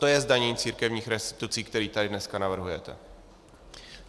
To je zdanění církevních restitucí, které tady dneska navrhujete.